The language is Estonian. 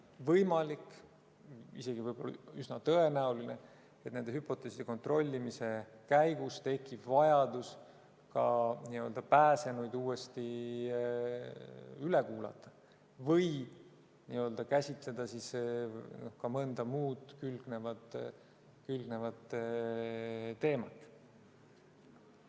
Võimalik, isegi üsna tõenäoline, et nende hüpoteeside kontrollimise käigus tekib vajadus ka pääsenuid uuesti üle kuulata või käsitleda ka mõnda muud külgnevat teemat.